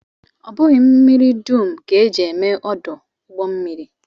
Ọ bụghị mmiri dum ka e ji eme ọdụ ụgbọmmiri